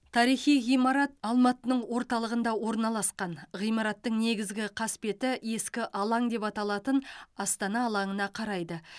тарихи ғимарат алматының орталығында орналасқан ғимараттың негізгі қасбеті ескі алаң деп аталатын астана алаңына қарайды